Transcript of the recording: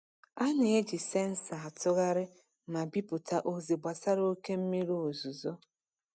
A na-eji sensọ atụgharị ma bipụta ozi gbasara oke mmiri ozuzo.